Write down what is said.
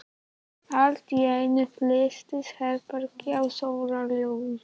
Allt í einu fyllist herbergið af sólarljósi.